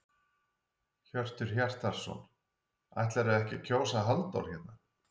Hjörtur Hjartarson: Ætlarðu ekki að kjósa Halldór hérna?